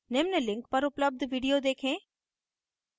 निम्न link पर उपलब्ध video देखें